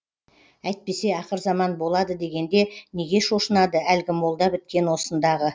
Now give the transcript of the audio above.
әйтпесе ақыр заман болады дегенде неге шошынады әлгі молда біткен осындағы